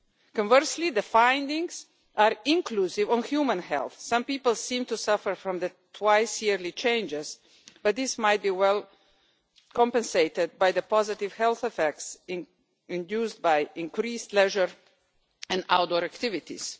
Conversely, the findings are inconclusive on human health. Some people seem to suffer from the twice yearly changes, but this might be well compensated for by the positive health effects induced by increased leisure and outdoor activities.